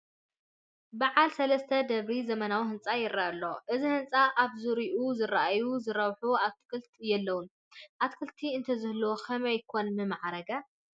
በዓል ሰለስተ ደብሪ ዘመናዊ ህንፃ ይርአ ኣሎ፡፡ እዚ ህንፃ ኣብ ዙርይኡ ዝርአዩ ዝረብሑ ኣትኽልትታት የለዉን፡፡ ኣትኽልቲ እንተዝህልዎ ከመይ ኮን ምማዕረገ?